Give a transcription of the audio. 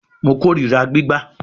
Mo korira gbigba